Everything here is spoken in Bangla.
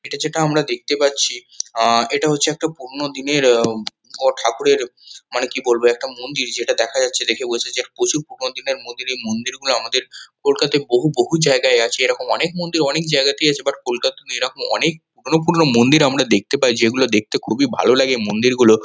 এটা যেটা আমরা দেখতে পাচ্ছি আ এটা হচ্ছে একটা পুরোনো দিনের আ অ ঠাকুরের মানে কি বলবো একটা মন্দির। যেটা দেখা যাচ্ছে দেখে বোঝা যাচ্ছে এটা প্রচুর পুরোনো দিনের। এই মন্দিরগুলো আমাদের কলকাতায় বহু বহু জায়গায় আছে। এরকম অনেক মন্দির অনেক জায়গাতেই আছে। বাট কোলকাতাতে এরকম অনেক পুরোনো পুরোনো মন্দির দেখতে পাই। যেগুলো দেখতে খুবই ভালো লাগে। মন্দিরগুলো--